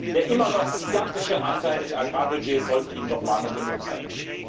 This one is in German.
Der immer noch gigantische Anteil des Agrarbudgets sollte Ihnen doch Mahnung genug sein.